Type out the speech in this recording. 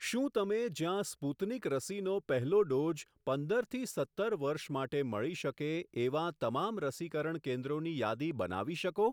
શું તમે જ્યાં સ્પુતનિક રસીનો પહેલો ડોઝ પંદરથી સત્તર વર્ષ માટે મળી શકે એવાં તમામ રસીકરણ કેન્દ્રોની યાદી બનાવી શકો?